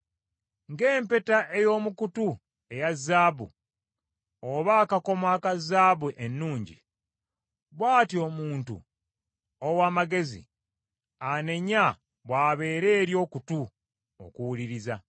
Ng’empeta ey’omu kutu eya zaabu, oba akakomo aka zaabu ennungi, bw’atyo omuntu ow’amagezi anenya, bw’abeera eri okutu okuwuliriza.